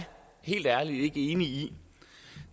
helt ærligt ikke enig